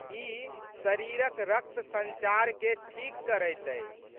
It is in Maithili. ई शरीरक रक्त संचारकेँ ठीक करैत अछि।